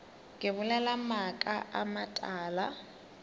ke bolela maaka a matala